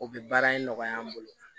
O bɛ baara in nɔgɔya an bolo